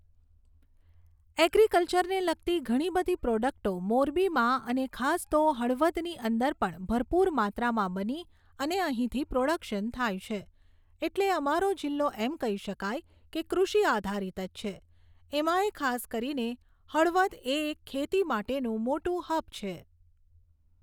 એગ્રિકલ્ચરને લગતી ધણી બધી પ્રોડક્ટો મોરબીમાં અને ખાસ તો હળવદની અંદર પણ ભરપૂર માત્રામાં બની અને અહીંથી પ્રોડક્શન થાય છે. એટલે અમારો જિલ્લો એમ કહી શકાય કે કૃષિ આધારિત જ છે એમાં એ ખાસ કરીને હળવદ એ એક ખેતી માટેનુંં મોટું હબ છે.